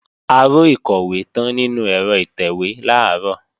Aró ìkọ̀wé tán nínú ẹ̀rọ ìtẹ̀wé làárọ̀